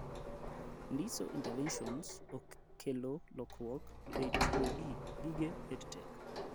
Ndiso interventions kelo lokruok ei tiyo gi gige Edtech